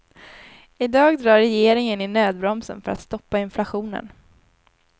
I dag drar regeringen i nödbromsen för att stoppa inflationen.